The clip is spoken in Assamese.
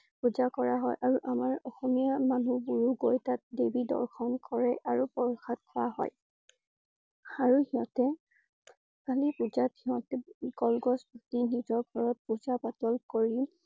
পূজা কৰা হয় আৰু আমাৰ অসমীয়া মানুহবোৰ ও গৈ তাত দেৱী দৰ্শন কৰে আৰু প্ৰসাদ খোৱা হয়। আৰু সিহঁতে কালি পূজাত সিহঁতে কলগছ পুতি নিজৰ ঘৰত পূজা পাতল কৰি